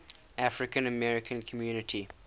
african american community